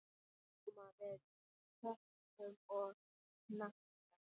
Koma við höku og hnakka.